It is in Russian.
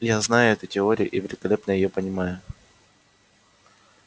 я знаю эту теорию и великолепно её понимаю